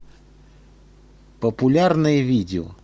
популярные видео